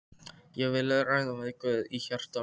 Ég vil ræða við Guð í hjarta mínu.